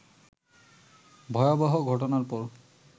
ভয়াবহ ঘটনার পর